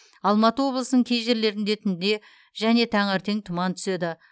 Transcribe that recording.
алматы облысының кей жерлерінде түнде және таңертең тұман түседі